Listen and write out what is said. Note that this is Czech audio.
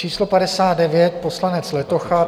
Číslo 59 - poslanec Letocha.